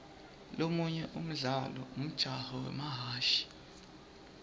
lomunye umdlalo umjaho wemahhashi